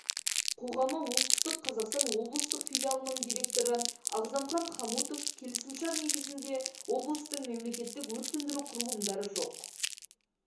қоғамы оңтүстік қазақстан облыстық филиалының директоры ағзамхан хамутов келісімшар негізінде облыстың мемлекеттік өрт-сөндіру құрылымдары жоқ